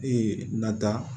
Ee nata